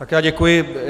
Tak já děkuji.